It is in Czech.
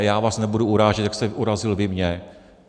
A já vás nebudu urážet, jak jste urazil vy mě.